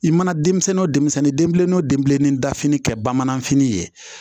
I mana denmisɛnnin denbilen o den bilennin dafini kɛ bamananfini ye